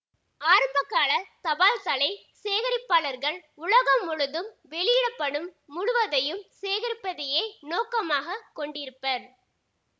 ஆரம்பகாலத் தபால்தலை சேகரிப்பாளர்கள் உலகம் முழுதும் வெளியிட படும் முழுவதையும் சேகரிப்பதையே நோக்கமாக கொண்டிருப்பர்